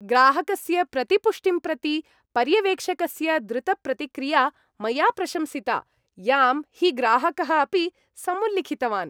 ग्राहकस्य प्रतिपुष्टिं प्रति पर्यवेक्षकस्य द्रुतप्रतिक्रिया मया प्रशंसिता, यां हि ग्राहकः अपि समुल्लिखितवान्।